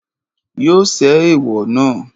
Yóò ṣẹ́ ẹ̀èwọ̀ náà.